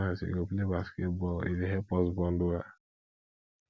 sometimes we go play basketball e dey help us bond well